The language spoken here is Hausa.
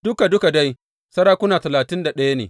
Duka duka dai sarakuna talatin da ɗaya ne.